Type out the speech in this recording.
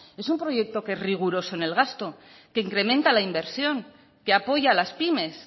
es un proyecto que es riguroso en el gasto que incrementa la inversión que apoya a las pymes